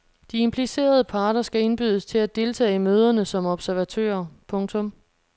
De implicerede parter skal indbydes til at deltage i møderne som observatører. punktum